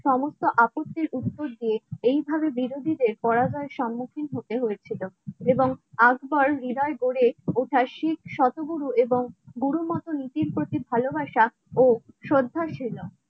সমস্ত আপত্তির মধ্যে এইভাবে বিরোধীদের পরাজয়ের সম্মুখীন হতে হয়েছিল এবং আকবর হৃদয় গড়ে ওঠা শিখ শতগুরু এবং গুরু মতো নীতির প্রতি ভালোবাসা ও শ্রদ্ধাশীলতা